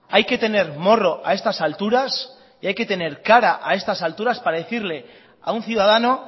hay que tener morro a estas alturas y hay que tener cara a estas alturas para decirle a un ciudadano